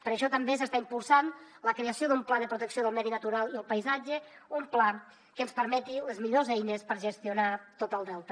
per això també s’està impulsant la creació d’un pla de protecció del medi natural i el paisatge un pla que ens permeti les millors eines per gestionar tot el delta